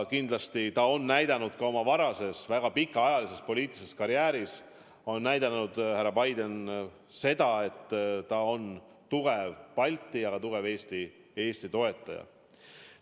Kindlasti on härra Biden oma senises väga pikaajalises poliitilises karjääris näidanud, et ta on tugev Baltikumi ja Eesti toetaja.